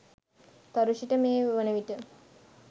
තරුෂි ට මේ වනවිට